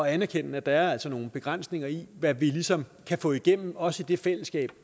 at anerkende at der altså er nogle begrænsninger i hvad vi ligesom kan få igennem også i det fællesskab